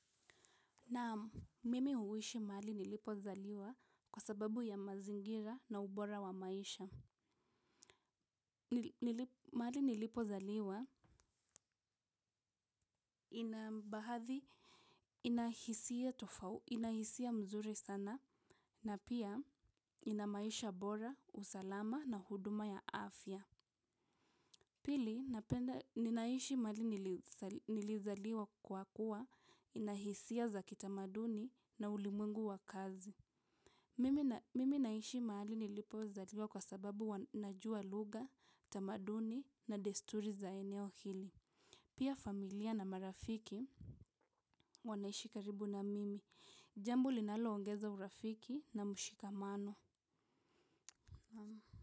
Naam, mimi huishi mahali nilipozaliwa kwa sababu ya mazingira na ubora wa maisha. Mahali nilipozaliwa ina baadhi, ina hisia tofauti, inahisia mzuri sana na pia ina maisha bora, usalama na huduma ya afya. Pili, ninaishi mahali nilizaliwa kwa kuwa inahisia za kitamaduni na ulimwengu wa kazi. Mimi naishi mahali nilipozaliwa kwa sababu najuwa lugha, tamaduni na desturi za eneo hili. Pia familia na marafiki wanaishi karibu na mimi. Jambo linaloongeza urafiki na mshikamano.